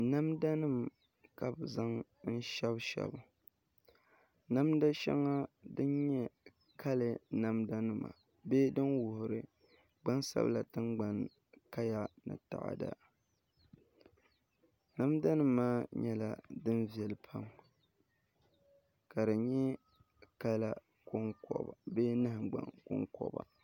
Namda nim ka bi zaŋ n shɛbi shɛbi ŋɔ namda shɛŋa din nyɛ kalɛs namda nima bee din wuhuri gbansabila tingbanni kaya ni taada namda nim maa nyɛla din viɛli pam ka di nyɛ kala bee nahangbaŋ konkoba